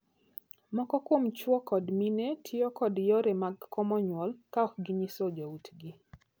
Moko kuom chwo kod mine tiyo kod yore mag komo nyuol ka ok ginyiso joutgi.